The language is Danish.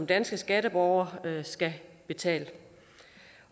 danske statsborgere skal betale